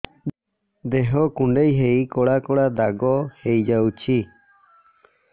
ଦେହ କୁଣ୍ଡେଇ ହେଇ କଳା କଳା ଦାଗ ହେଇଯାଉଛି